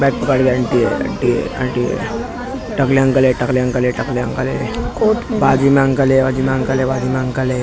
Aunty है aunty है aunty है टकले अंकल है टकले अंकल है टकले अंकल है बाजू में अंकल है बाजू में अंकल है बाजू में अंकल है।